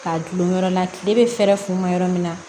K'a dulon yɔrɔ la tile bɛ fɛɛrɛ fun ma yɔrɔ min na